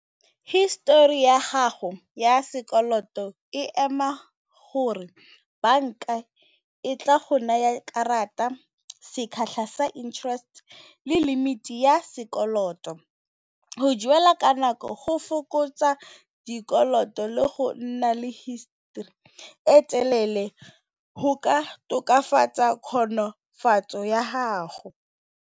History ya gago ya sekoloto e ema gore banka e tla go naya karata sa interest le limit ya sekoloto, go duela ka nako go fokotsa dikoloto le go nna le history e telele go ka tokafatsa kgonofatso ya gago.